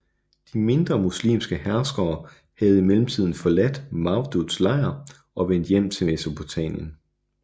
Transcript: De mindre muslimske herskere havde i mellemtiden forladt Mawduds lejr og vendt tilbage til Mesopotamien